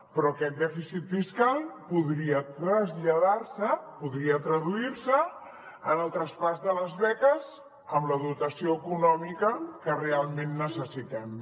però aquest dèficit fiscal podria traslladar se podria traduir se en el traspàs de les beques amb la dotació econòmica que realment necessitem